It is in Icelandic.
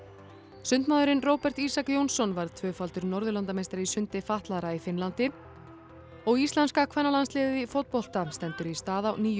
sundmaðurinn Róbert Ísak Jónsson varð tvöfaldur Norðurlandameistari í sundi fatlaðra í Finnlandi og íslenska kvennalandsliðið í fótbolta stendur í stað á nýjum